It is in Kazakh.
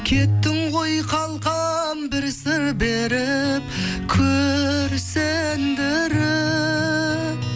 кеттің ғой қалқам бір сыр беріп күрсіндіріп